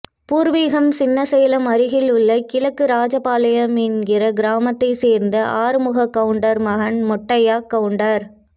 பூர்வீகம் சின்னசேலம் அருகிலுள்ள கிழக்கு ராஜாபாளையம் என்கிற கிராமத்தை சேர்ந்த ஆறுமுககவுண்டர் மகன் மொட்டையக்கவுண்டர்